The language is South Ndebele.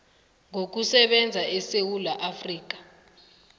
ngokusebenza esewula afrika